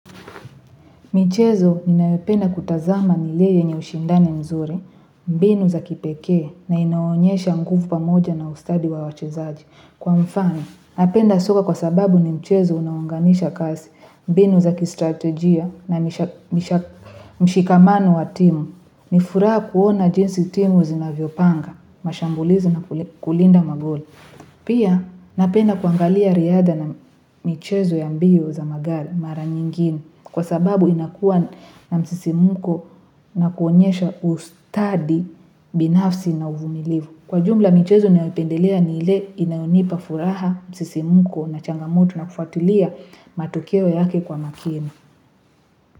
Michezo ninayopenda kutazama ni ile yenye ushindani mzuri, mbinu za kipekee na inaonyesha mkufu pa moja na ustadi wa wachezaji. Kwa mfano, napenda soka kwa sababu ni mchezo unaowaunganisha kasi, mbinu za kistratejia na mshikamano wa timu. Nifuraha kuona jinsi timu zinavyopanga, mashambulizi na kulinda magoli. Pia napenda kuangalia riadha na, michezo ya mbio za magari mara nyingine kwa sababu inakuwa na msisimuko, na kuonyesha ustadi binafsi na uvumilivu. Kwa jumla michezo nayopendelea ni ile inayonipa furaha msisimuko na changamoto na kufatulia, matokeo yake kwa makini.